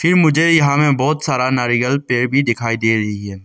फिर मुझे यहां में बहुत सारा नारियल पेड़ भी दिखाई दे रही है।